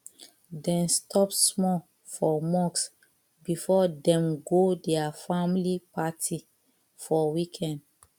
dem stop small for mosque before dem go their family party for weekend